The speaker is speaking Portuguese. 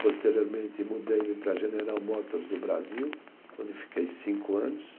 Posteriormente, mudei-me para a General Motors do Brasil, onde fiquei cinco anos.